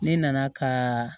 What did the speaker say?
Ne nana ka